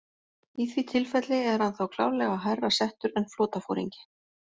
Í því tilfelli er hann þá klárlega hærra settur en flotaforingi.